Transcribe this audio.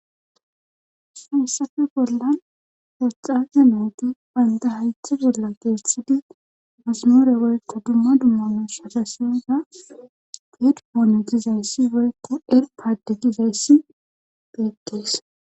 Haysafe bollan poxaze nooti baynda haythe bolla deetthidi masimoore woykka dumma dumma mus asasiyoza fedpoone gizayssi woykko er paadde gizayssi beettees.